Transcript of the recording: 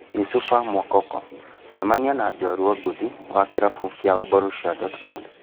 Youssoufa Moukoko: Cemania na njorua ngothi wa kĩrabu kĩa Borussia Dortmund